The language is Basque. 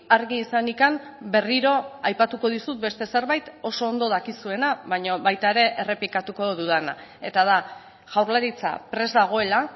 argi izanik berriro aipatuko dizut beste zerbait oso ondo dakizuena baina baita ere errepikatuko dudana eta da jaurlaritza prest dagoela